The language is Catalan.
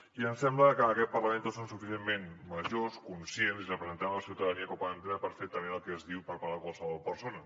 i em sembla que en aquest parlament tots som suficientment grans conscients i representem la ciutadania com per poder entendre perfectament el que es diu per part de qualsevol persona